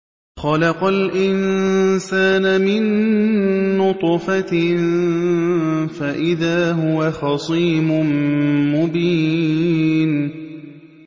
خَلَقَ الْإِنسَانَ مِن نُّطْفَةٍ فَإِذَا هُوَ خَصِيمٌ مُّبِينٌ